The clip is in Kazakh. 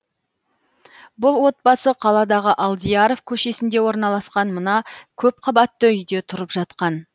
бұл отбасы қаладағы алдияров көшесінде орналасқан мына көпқабатты үйде тұрып жатқан